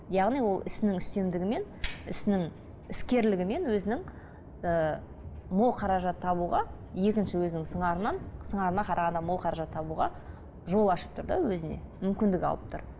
яғни ол ісінің үстемдігімен ісінің іскерлігімен өзінің ііі мол қаражат табуға екінші өзінің сыңарынан сыңарына қарағанда мол қаражат табуға жол ашып тұр да өзіне мүмкіндік алып тұр